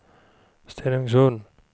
Stenungsund